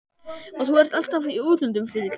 Og þú ert alltaf í útlöndum, Friðrik minn